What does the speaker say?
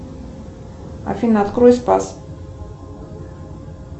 афина открой спас